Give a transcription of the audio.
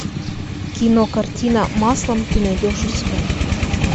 кино картина маслом ты найдешь у себя